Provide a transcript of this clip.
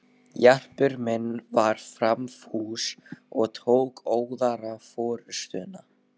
Jarpur minn var framfús og tók óðara forustuna.